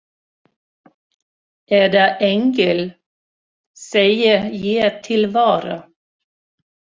Eða engill, segi ég til vara.